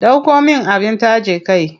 Ɗauko min abin taje kai.